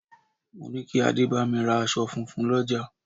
Mo ní kí adé bámi ra aṣọ funfun l'ọja